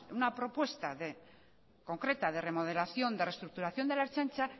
una propuesta concreta de remodelación de reestructuración de la ertzaintza